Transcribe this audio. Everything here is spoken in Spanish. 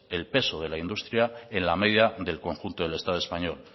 el peso de la industria en la media del conjunto del estado español